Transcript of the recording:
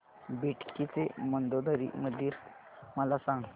बेटकी चे मंदोदरी मंदिर मला सांग